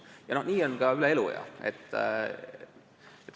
Ja nii on ka eluea lõikes.